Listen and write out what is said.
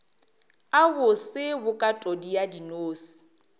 a bose bokatodi ya dinose